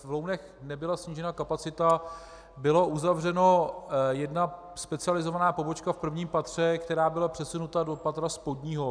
V Lounech nebyla snížena kapacita, byla uzavřena jedna specializovaná pobočka v prvním patře, která byla přesunuta do patra spodního.